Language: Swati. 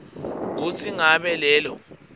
kutsi ngabe lelo